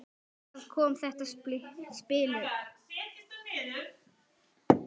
Þar kom þetta spil upp.